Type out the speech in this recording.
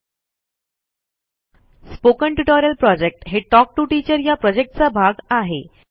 spoken tutorial project हे talk to teacher या प्रॉजेक्टचा भाग आहे